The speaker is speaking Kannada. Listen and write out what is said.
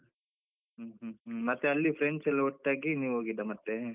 ಹ್ಮ್ ಹ್ಮ್ ಹ್ಮ್ ಮತ್ತೆ ಅಲ್ಲಿ friends ಎಲ್ಲ ಒಟ್ಟಾಗಿ ನೀವು ಹೋಗಿದ್ದ ಮತ್ತೆ?